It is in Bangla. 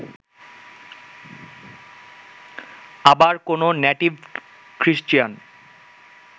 আবার কোন নেটীভ খ্রীষ্টিয়ান